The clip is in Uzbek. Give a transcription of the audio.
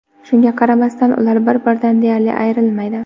Shunga qaramasdan ular bir-biridan deyarli ayrilmaydi.